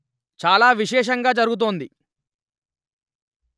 చాల విశేషంగా జరుగుతోంది